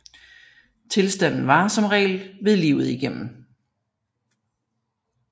Tilstanden varer som regel ved livet igennem